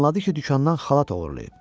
Danladı ki, dükandan xalat oğurlayıb.